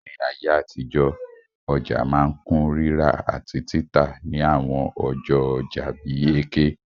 Ní ayé àtijọ́, ọja ma n kun rírà àtí títà ni àwon ọjọ́ ojà bi Eke